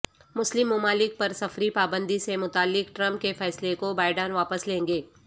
مسلم ممالک پر سفری پابندی سے متعلق ٹرمپ کے فیصلے کو بائیڈن واپس لیں گے